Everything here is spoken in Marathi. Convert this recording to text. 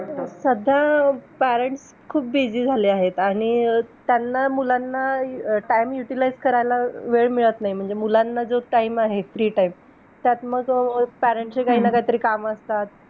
आहार रसेचे शरीरातील रसादी सप्त धातूचे प्राथमिक व मूलभूत स्वरूप आहे. आहार रसाची निर्मिती स्थूल पचनाच्या वेळेस होत असते. अन्नपचनाच्या स्थूल पचन व सूक्ष्म पचन असे प्रामुख्याने दोन प्रकार पडतात.